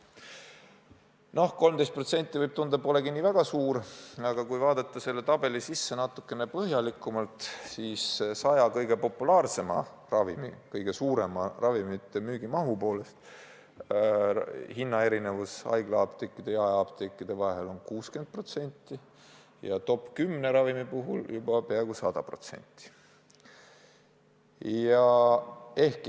Noh, võib tunduda, et näiteks 13% polegi nii väga suur vahe, aga kui vaadata selle tabeli sisu natukene põhjalikumalt, siis 100 kõige populaarsema ravimi puhul, mille müügimaht on kõige suurem, on hinnaerinevus haiglaapteekide ja jaeapteekide vahel 60%, top 10 ravimi puhul aga juba peaaegu 100%.